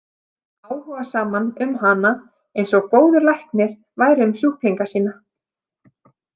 Áhugasaman um hana, eins og góður læknir væri um sjúklinga sína.